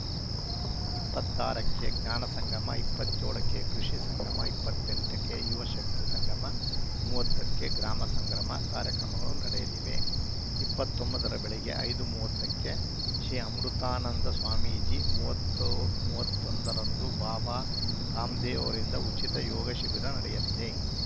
ಇಪ್ಪತ್ತ್ ಆರಕ್ಕೆ ಜ್ಞಾನ ಸಂಗಮ ಇಪ್ಪತ್ತ್ ಏಳಕ್ಕೆ ಕೃಷಿ ಸಂಗಮ ಇಪ್ಪತ್ತ್ ಎಂಟಕ್ಕೆ ಯುವ ಶಕ್ತಿ ಸಂಗಮ ಮೂವತ್ತಕ್ಕೆ ಗ್ರಾಮ ಸಂಗಮ ಕಾರ್ಯಕ್ರಮಗಳು ನಡೆಯಲಿವೆ ಇಪ್ಪತ್ತ್ ಒಂಬತ್ತರ ಬೆಳಗ್ಗೆ ಐದು ಮೂವತ್ತಕ್ಕೆ ಶ್ರೀ ಅಮೃತಾನಂದ ಸ್ವಾಮೀಜಿ ಮೂವತ್ತ್ ಒಂದರಂದು ಬಾಬಾ ರಾಮದೇವ ಅವರಿಂದ ಉಚಿತ ಯೋಗ ಶಿಬಿರ ನಡೆಯಲಿದೆ